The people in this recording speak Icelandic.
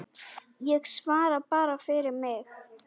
Ég svara bara fyrir mig.